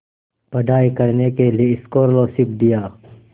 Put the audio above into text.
पढ़ाई करने के लिए स्कॉलरशिप दिया